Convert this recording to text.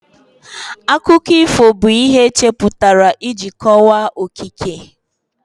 Akụkọ ifo bụ ihe echepụtara iji kọwaa okike